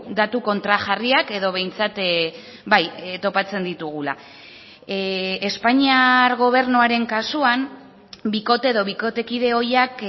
datu kontrajarriak edo behintzat bai topatzen ditugula espainiar gobernuaren kasuan bikote edo bikotekide ohiak